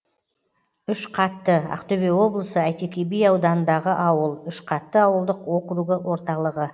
үшқатты ақтөбе облысы әйтеке би ауданындағы ауыл үшқатты ауылдық округі орталығы